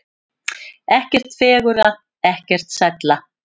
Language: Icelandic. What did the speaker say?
Ekkert fegurra, ekkert sælla.